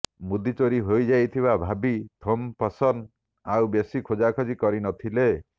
ମୁଦି ଚୋରି ହୋଇଯାଇଥିବା ଭାବି ଥୋମପସନ ଆଉ ବେଶି ଖୋଜାଖୋଜି କରିନଥିଲେ